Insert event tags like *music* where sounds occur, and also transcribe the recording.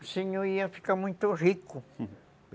o senhor ia ficar muito rico *laughs*